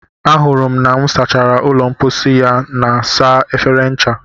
ahụrụ m na m sachara ụlọ mposi ya na saa efere ncha